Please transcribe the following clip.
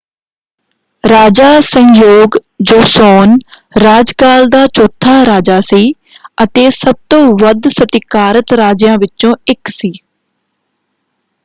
ਰਾਜਾ Sejong Joseon ਰਾਜਕਾਲ ਦਾ ਚੌਥਾ ਰਾਜਾ ਸੀ ਅਤੇ ਸਭ ਤੋਂ ਵੱਧ ਸਤਿਕਾਰਤ ਰਾਜਿਆਂ ਵਿੱਚੋਂ ਇੱਕ ਸੀ।